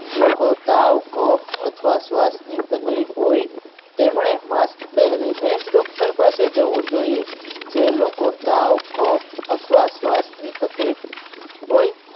લોકો તાવ કફ અથવા શ્વાસની તકલીફ હોય તેમણે mask પહેરીને જ doctor પાસે જવું જોઈએ જે લોકો તાવ કફ અથવા શ્વાસની તકલીફ હોય